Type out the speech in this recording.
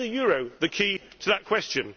Is the euro the key to that question?